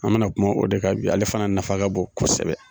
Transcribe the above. An mana kuma o de kan bi ale fana nafa ka bon kosɛbɛ.